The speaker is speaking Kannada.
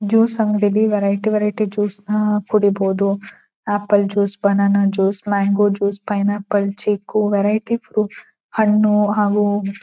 ಜ್ಯೂಸು ಅಂಗಡಿಲಿ ವೆರೈಟಿ ವೆರೈಟಿ ಜ್ಯೂಸುನ ಕುಡೀಬಹುದು apple juice banana juice mango juice pineapple chikoo variety ಫ್ರೂಟ್ಹ ಣ್ಣು ಹಾಗು--